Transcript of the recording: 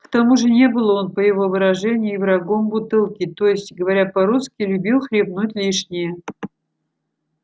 к тому же не был он по его выражению и врагом бутылки то есть говоря по-русски любил хлебнуть лишнее